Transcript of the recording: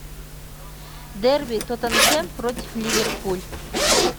дерби тоттенхэм против ливерпуль